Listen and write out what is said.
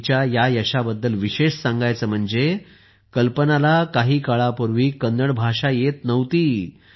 पण तिच्या या यशाबद्दल विशेष सांगायचे म्हणजे कल्पनाला काही काळापूर्वी कन्नड भाषा येत नव्हती